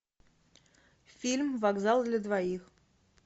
фильм вокзал для двоих